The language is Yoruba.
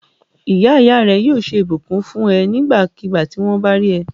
Ìyá ìyá rẹ yóò sọ ìbùkún ni fún ẹ nígbàkigbà tí wọ́n bá rí ẹ.